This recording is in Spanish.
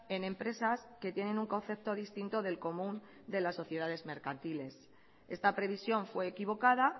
en empresas que tienen un concepto distinto del común de las sociedades mercantiles esta previsión fue equivocada